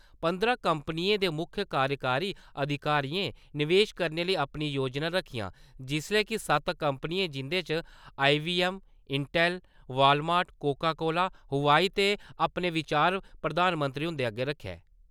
पंदरां कम्पनियें दे मुक्ख कार्यकारी अधिकारियें निवेश करने लेई अपनियां योजना रक्खियां जिसलै कि सत्त कम्पनियें जिं'दे च IBM, Intel, Walmart, Coca Cola, होआई ने अपने विचार प्रधानमंत्री हुंदे अग्गै रक्खे ।